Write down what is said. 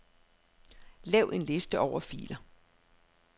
Lav en liste over filer.